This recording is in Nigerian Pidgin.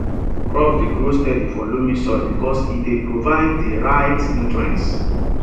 crops dey grow steady for loamy soil because e dey provide di right nutrients